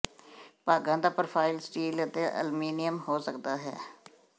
ਭਾਗਾਂ ਦਾ profile steel ਅਤੇ ਅਲਮੀਨੀਅਮ ਹੋ ਸਕਦਾ ਹੈ